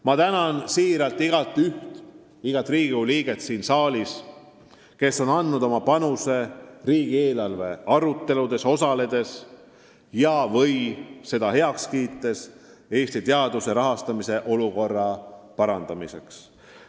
Ma tänan südamest igaüht, igat Riigikogu liiget siin saalis, kes on andnud oma panuse riigieelarve aruteludes osaledes ja heaks kiites eesmärki Eesti teaduse rahastamist parandada.